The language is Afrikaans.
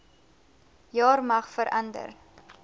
jaar mag verander